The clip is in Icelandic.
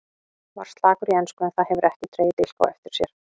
Var slakur í ensku en það hefur ekki dregið dilk á eftir sér.